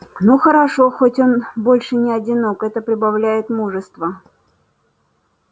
но хорошо хоть он больше не одинок это прибавляет мужества